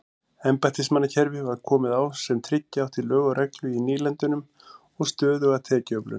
Embættismannakerfi var komið á sem tryggja átti lög og reglu í nýlendunum og stöðuga tekjuöflun.